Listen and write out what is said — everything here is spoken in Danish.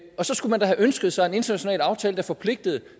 og så skulle man da have ønsket sig en international aftale der forpligtede